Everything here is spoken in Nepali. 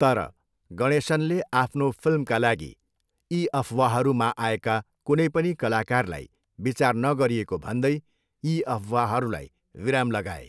तर, गणेशनले आफ्नो फिल्मका लागि यी अफवाहमा आएका कुनै पनि कलाकारलाई विचार नगरिएको भन्दै यी अफवाहहरूलाई विराम लगाए।